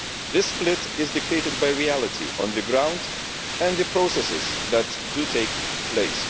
This split is dictated by reality on the ground and the processes that take place.